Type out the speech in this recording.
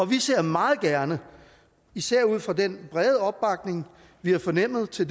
vi ser meget gerne især ud fra den brede opbakning vi har fornemmet til